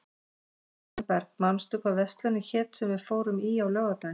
Rósenberg, manstu hvað verslunin hét sem við fórum í á laugardaginn?